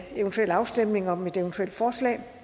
afstemning om eventuelle forslag